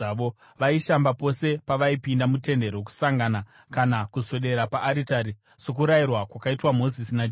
Vaishamba pose pavaipinda muTende Rokusangana kana kuswedera paaritari, sokurayirwa kwakaitwa Mozisi naJehovha.